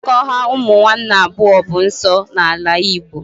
Mmekọahụ ụmụ nwanne abụọ bụ nsọ n'ala igbo